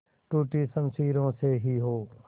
टूटी शमशीरों से ही हो